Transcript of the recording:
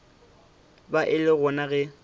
ba e le gona ge